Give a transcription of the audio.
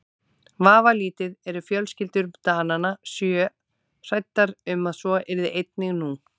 Vafalítið eru fjölskyldur Dananna sjö hræddar um að svo yrði einnig nú.